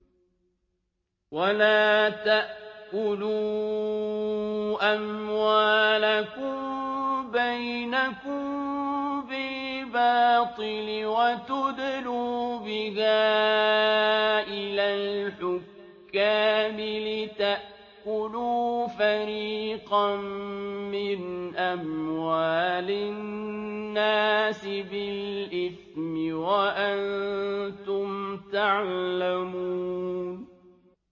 وَلَا تَأْكُلُوا أَمْوَالَكُم بَيْنَكُم بِالْبَاطِلِ وَتُدْلُوا بِهَا إِلَى الْحُكَّامِ لِتَأْكُلُوا فَرِيقًا مِّنْ أَمْوَالِ النَّاسِ بِالْإِثْمِ وَأَنتُمْ تَعْلَمُونَ